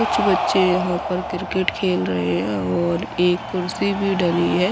कुछ बच्चे यहां पर क्रिकेट खेल रहे हैं और एक कुर्सी भी डली है।